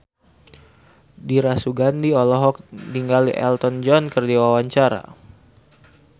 Dira Sugandi olohok ningali Elton John keur diwawancara